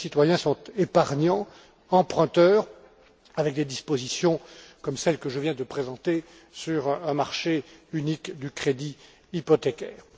Et puis, les citoyens sont épargnants, emprunteurs, avec des dispositions comme celles que je viens de présenter sur un marché unique du crédit hypothécaire.